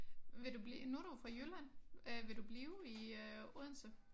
Vil du blive nu du jo fra Jylland øh vil du blive i øh Odense?